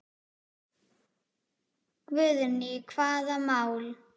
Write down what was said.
Guðný: Hvaða mál?